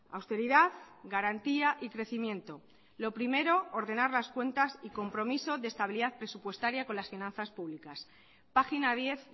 austeridad garantía y crecimiento lo primero ordenar las cuentas y compromiso de estabilidad presupuestaria con las finanzas públicas página diez